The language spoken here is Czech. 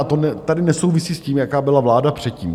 A to tady nesouvisí s tím, jaká byla vláda předtím.